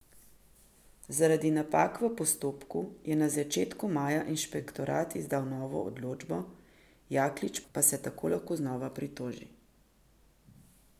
Zaradi napak v postopku je na začetku maja inšpektorat izdal novo odločbo, Jaklič pa se tako lahko znova pritoži.